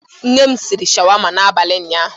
Nne m riri sháwámá n'abalị ụnyaahụ.